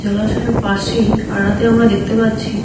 জলাশয়ের পাশেই আরাতে আমরা দেখতে পাচ্ছি